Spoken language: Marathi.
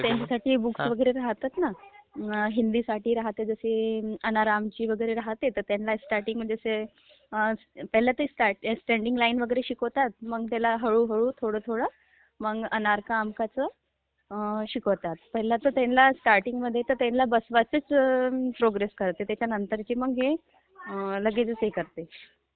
हा त्यांच्यासाठी बुक वगैरे राहतात ना, हिंदीसाठी आणि आरामची not clear राहते तर, त्यांना स्ट्रार्टींगमध्ये ते पहिले ते स्टॅडींग लाइन वगैरे शिकवताता ना ते, मग त्याला हळू हळू थोडं थोडं मग voice Not clear शिकवताता, पहिले तर त्यांना स्ट्रार्टींगमध्ये् तर बसवायचीच प्रोग्रेस राहाते त्याच्यानंतर, ते लगेचंच हे करते...